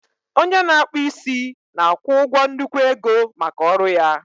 Onye na-akpụ isi na-akwụ ụgwọ nnukwu ego maka ọrụ ya